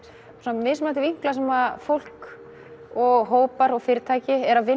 mismunandi vinkla sem fólk og hópar og fyrirtæki eru að vinna